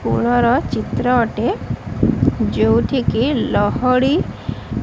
ପୋଳର ଚିତ୍ର ଅଟେ ଯୋଉଠିକି ଲହଡି଼ --